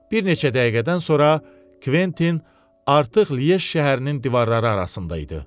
Bir neçə dəqiqədən sonra Kventin artıq Liej şəhərinin divarları arasında idi.